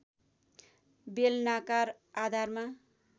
बेलनाकार आधारमा